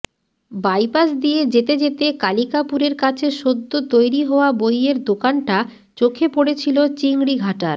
bypass দিয়ে যেতে যেতে কালিকাপুরের কাছে সদ্য তৈরি হওয়া বইয়ের দোকানটা চোখে পড়েছিল চিংড়িঘাটার